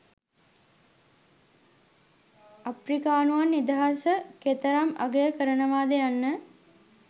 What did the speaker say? අප්‍රිකානුවන් නිදහස කෙතරම් අගය කරනවද යන්න